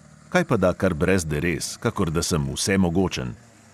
Kajpada kar brez derez, kakor da sem vsemogočen!